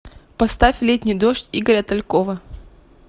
поставь летний дождь игоря талькова